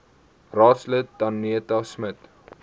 raadslid danetta smit